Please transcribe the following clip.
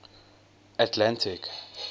atlantic